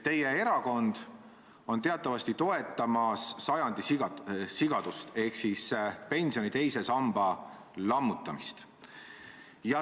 Teie erakond on teatavasti toetamas sajandi sigadust ehk pensioni teise samba lammutamist.